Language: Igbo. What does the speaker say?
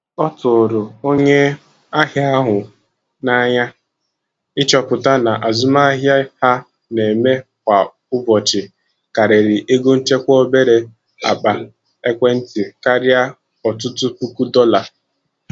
Ọ tụrụ onye ahịa ahụ n'anya ịchọpụta na azụmahịa ha na-eme kwa ụbọchị karịrị ego nchekwa obere akpa ekwentị karịa ọtụtụ puku dollar.